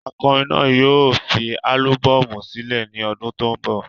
Akọrin náà yóò fi álúbọ́ọ̀mù sílẹ̀ ní ọdún tó ń bọ̀.